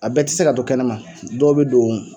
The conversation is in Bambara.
A bɛɛ tɛ se ka to kɛnɛma dɔw bɛ don